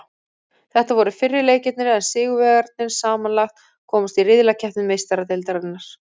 Þetta voru fyrri leikirnir en sigurvegararnir samanlagt komast í riðlakeppni Meistaradeildarinnar.